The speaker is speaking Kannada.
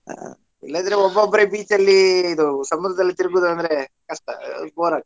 ಆ ಇಲ್ಲದಿದ್ರೆ ಒಬ್ಬೊಬ್ಬರೆ beach ಅಲ್ಲಿ ಇದು ಸಮುದ್ರದಲ್ಲಿ ತಿರುಗುದ ಅಂದ್ರ ಕಷ್ಟ bore ಆಗ್~.